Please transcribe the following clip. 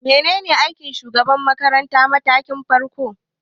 Menene aikin shugaban makarantar matakin farko?